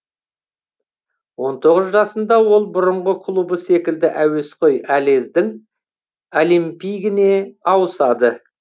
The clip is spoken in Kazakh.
он тоғыз жасында ол бұрынғы клубы секілді әуесқой алездің олимпигіне ауысады